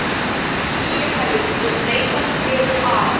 Félagið mun leitast við að